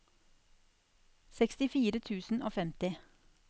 sekstifire tusen og femti